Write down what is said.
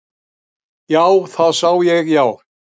Já, það sá ég já.